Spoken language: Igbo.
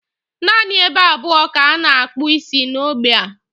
Naanị ebe abụọ ka a na-akpụ isi n'ógbè a.